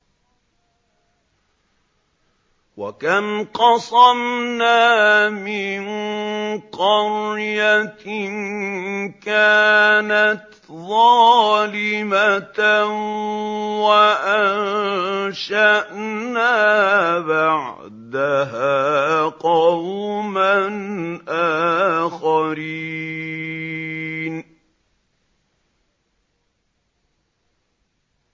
وَكَمْ قَصَمْنَا مِن قَرْيَةٍ كَانَتْ ظَالِمَةً وَأَنشَأْنَا بَعْدَهَا قَوْمًا آخَرِينَ